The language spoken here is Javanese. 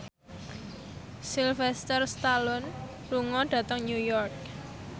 Sylvester Stallone lunga dhateng New York